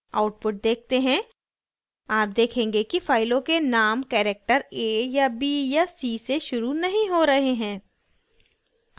output देखते हैं आप देखेंगे कि फाइलों के names character a या b या c से शुरू नहीं हो रहे हैं